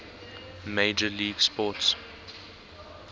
major league sports